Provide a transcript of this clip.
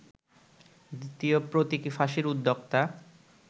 দ্বিতীয় প্রতীকী ফাঁসির উদ্যোক্তা